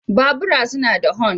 Bubura suna da hon.